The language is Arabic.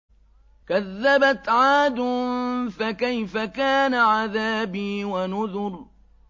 كَذَّبَتْ عَادٌ فَكَيْفَ كَانَ عَذَابِي وَنُذُرِ